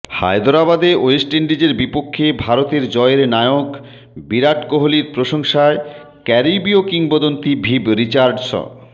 হায়দরাবাদে West ইন্ডিজের বিপক্ষে ভারতের জয়ের নায়ক বিরাট কোহলির প্রশংসায় ক্যারিবীয় কিংবদন্তি ভিভ রিচার্ডস